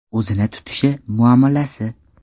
O‘zini tutishi, muomalasi.